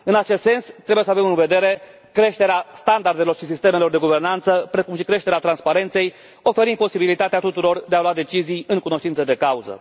În acest sens, trebuie să avem în vedere creșterea standardelor și sistemelor de guvernanță, precum și creșterea transparenței, oferind posibilitatea tuturor de a lua decizii în cunoștință de cauză.